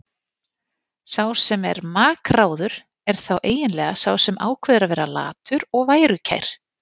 Sá sem er makráður er þá eiginlega sá sem ákveður að vera latur og værukær.